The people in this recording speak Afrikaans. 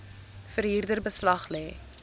verhuurder beslag lê